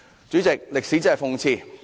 "主席，歷史真的諷刺。